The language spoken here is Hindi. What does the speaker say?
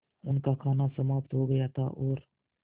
उनका खाना समाप्त हो गया था और